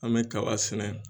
An bɛ kaba sɛnɛ